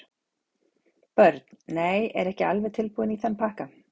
Börn: Nei, er ekki alveg tilbúinn í þann pakka.